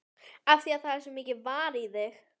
Af því að það er svo mikið varið í þig.